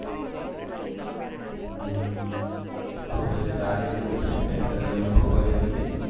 તો પછી તારે કેવું છે friend circle માં છોકરીઓ નથી